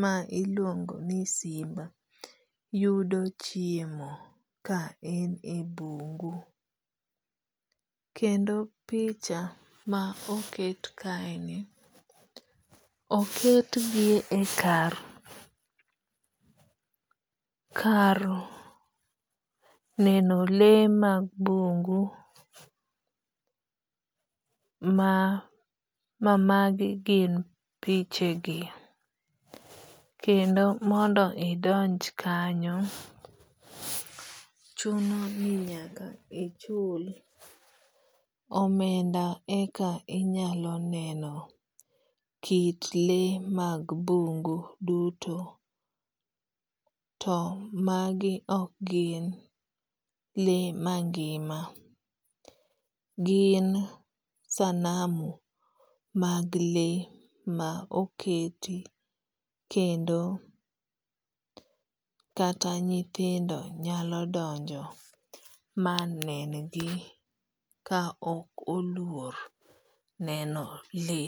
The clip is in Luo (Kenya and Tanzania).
ma iluongo ni simba yudo chiemo ka en e bungu. Kendo picha ma oket kae ni oket gi e kar neno le mag bungu ma magi gin piche gi. Kendo mondo idonj kanyo chuno ni nyaka ichul omenda eka inyalo neno kit le mag bungu duto to magi ok gin le mangima. Gin sanamu mag le ma oketi kendo kata nyithindo nyalo donjo ma nengi ka ok oluor neno le.